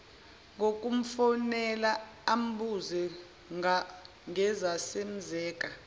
ngokumfonela ambuze ngezazenzeka